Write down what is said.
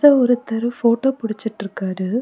இங்க ஒருத்தர் போட்டோ புடிச்சிட்றுக்காறு.